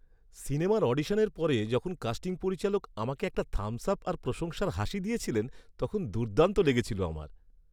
সিনেমার অডিশনের পরে যখন কাস্টিং পরিচালক আমাকে একটা থাম্বস আপ আর প্রশংসার হাসি দিয়েছিলেন তখন দুর্দান্ত লেগেছিল আমার।